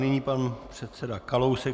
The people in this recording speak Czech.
Nyní pan předseda Kalousek.